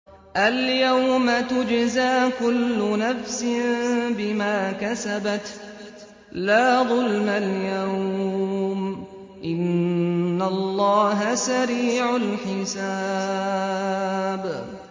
الْيَوْمَ تُجْزَىٰ كُلُّ نَفْسٍ بِمَا كَسَبَتْ ۚ لَا ظُلْمَ الْيَوْمَ ۚ إِنَّ اللَّهَ سَرِيعُ الْحِسَابِ